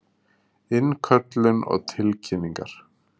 Innköllun og tilkynningar.